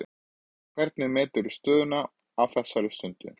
Hvernig meturðu stöðuna á þessari stöddu?